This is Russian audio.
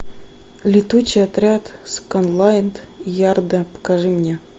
летучий отряд скотланд ярда покажи мне